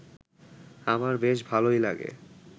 আমার বেশ ভালই লাগে